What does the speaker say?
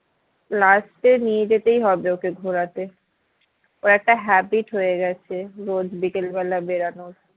last এ নিয়ে যেতেই হবে ওকে ঘোরাতে ওর একটা habit হয়ে গেছে রোজ বিকেলবেলা বেরোনোর